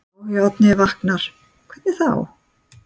Áhugi Oddnýjar vaknar: Hvernig þá?